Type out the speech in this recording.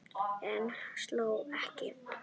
Hann hló ekki.